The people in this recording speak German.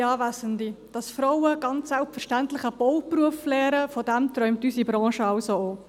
Dass Frauen ganz selbstverständlich einen Bauberuf erlenen, davon träumt unsere Branche auch!